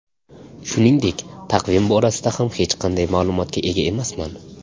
Shuningdek, taqvim borasida ham hech qanday ma’lumotga ega emasman.